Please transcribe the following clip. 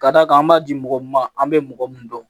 Ka d'a kan an b'a di mɔgɔ ma an bɛ mɔgɔ mun dɔn